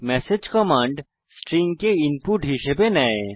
message command string কে input হিসাবে নেয়